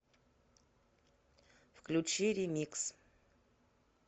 включи ремикс